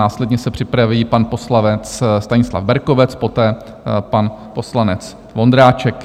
Následně se připraví pan poslanec Stanislav Berkovec, poté pan poslanec Vondráček.